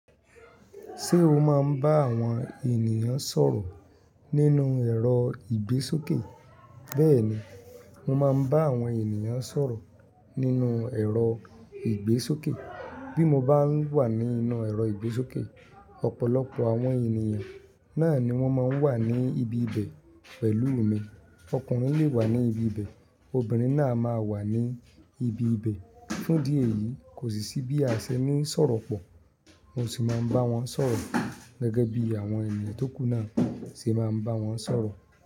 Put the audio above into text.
Ṣé o máa ń bá àwọn ènìyàn sọ̀rọ̀ nínú ẹ̀rọ ìgbésókè? Bẹ́ẹ̀ni, mo máa ń bá àwọn ènìyàn sọ̀rọ̀ nínú ẹ̀rọ ìgbésókè. Bí mo bá wà nínú ẹ̀rọ ìgbésókè, ọ̀pọ̀lọpọ̀ àwọn ènìyàn náà ni wọ́n máa ń wà ní ibi ibẹ̀ pẹ̀lú mi. Ọkùnrin lè wà ní ibi ibẹ̀, obìnrin náà máa wà ní ibi ibẹ̀. Fún'dí ẹ̀yìí, kò sì sí bí a ṣe ní sọ̀rọ̀ pọ̀. Mo sì máa ń bá wọn sọ̀rọ̀ gẹ́gẹ́ bí àwọn ènìyàn tó kù náà ṣe máa ń bá wọn sọ̀rọ̀